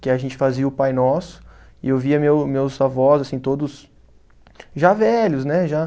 Que a gente fazia o Pai Nosso e eu via meu meus avós, assim, todos já velhos, né? Já